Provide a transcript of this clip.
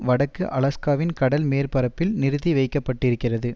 வடக்கு அலாஸ்காவின் கடல் மேற்பரப்பில் நிறுத்தி வைக்க பட்டு இருக்கிறது